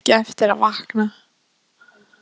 Eins og hann eigi ekki eftir að vakna?